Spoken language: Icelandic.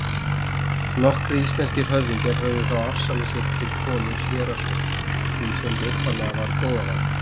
Nokkrir íslenskir höfðingjar höfðu þá afsalað sér til konungs héraðsvöldum, því sem upphaflega var goðavald.